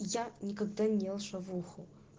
я никогда не ел шавуху